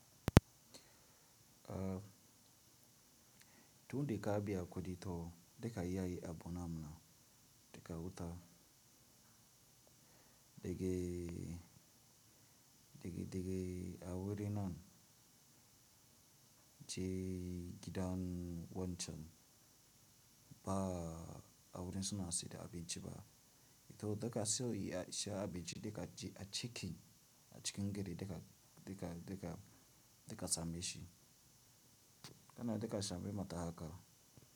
Tundai ka biya kudi to daga iyayi abu namna daga wuta, daga, daga, daga awurin nan je gidan wancan ba awurin suna si da abinci ba, to daga sai ya sha abinci daga ji a cikin, a cikin gari daga, daga, daga, daga zame shi. Kana daga zame mata haka.